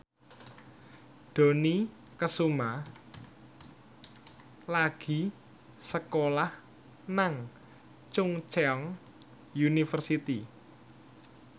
Dony Kesuma lagi sekolah nang Chungceong University